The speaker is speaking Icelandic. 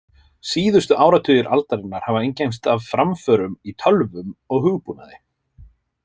Síðustu áratugir aldarinnar hafa einkennst af framförum í tölvum og hugbúnaði.